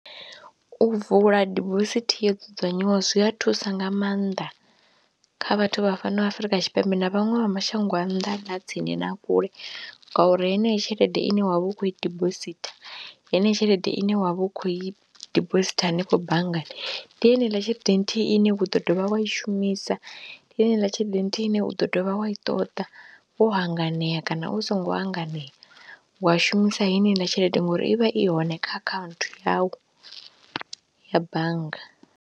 U vula dibosithi yo dzudzanywaho zwi a thusa nga maanḓa kha vhathu vha fhano Afrika Tshipembe na vhaṅwe vha mashango a nnḓa na tsini na kule ngauri heneyi tshelede ine wa vha u khou i dibositha, heneyo tshelede ine wa vha u khou i dibositha hanefho banngani ndi yeneiḽa tshelede nthihi ine u ḓo dovha wa i shumisa, ndi heiḽa tshelede nthihi ine wa ḓo dovha wa i ṱoḓa wo hanganea kana u songo hanganea, wa shumisa heiḽa tshelede ngori i vha i hone kha akhaunthu yau ya bannga.